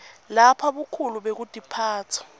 lapho bukhulu bekutiphatsa